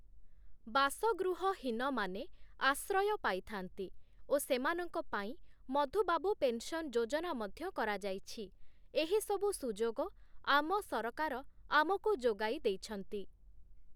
ବାସଗୃହହୀନମାନେ ଆଶ୍ରୟ ପାଇଥାନ୍ତି ଓ ସେମାନଙ୍କ ପାଇଁ ମଧୁବାବୁ ପେନସନ୍‌ ଯୋଜନା ମଧ୍ୟ କରାଯାଇଛି, ଏହିସବୁ ସୁଯୋଗ ଆମ ସରକାର ଆମକୁ ଯୋଗାଇ ଦେଇଛନ୍ତି ।